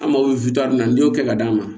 An mako bɛ na n'i y'o kɛ ka d'a ma